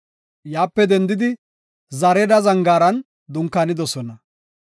Yaape dendidi, Zareeda Zangaaran dunkaanidosona.